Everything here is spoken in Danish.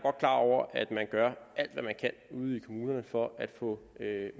klar over at man gør alt hvad man kan ude i kommunerne for at få